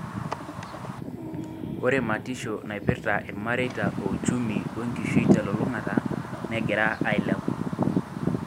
Ore matisho naipirta ilmareita o uchumi o enkishui telulungata negira ailepu.